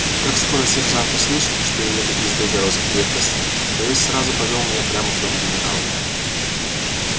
как скоро сержант услышал что я еду из белгородской крепкости то есть сразу повёл меня прямо в дом генерала